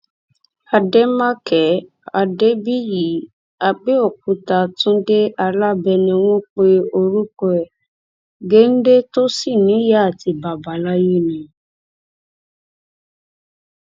àdèmàkè adébíyì àbẹòkúta túnde alábẹ ni wọn pe orúkọ ẹ̀ géńdé tó sì níyàá àti bàbá láyé ni